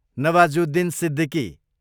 Nawazuddin Siddiqui